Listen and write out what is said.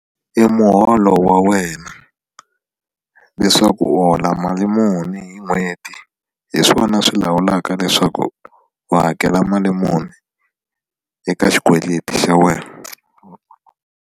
I muholo wa wena leswaku u hola mali muni hi n'hweti hi swona swi lawulaka leswaku u hakela mali muni eka xikweleti xa wena.